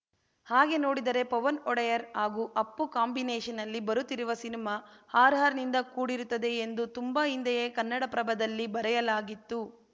ಹಾಗೆ ನೋಡಿದರೆ ಪವನ್‌ ಒಡೆಯರ್‌ ಹಾಗೂ ಅಪ್ಪು ಕಾಂಬಿನೇಷನ್‌ನಲ್ಲಿ ಬರುತ್ತಿರುವ ಸಿನಿಮಾ ಹಾರರ್‌ನಿಂದ ಕೂಡಿರುತ್ತದೆ ಎಂದು ತುಂಬಾ ಹಿಂದೆಯೇ ಕನ್ನಡಪ್ರಭದಲ್ಲೇ ಬರೆಯಲಾಗಿತ್ತು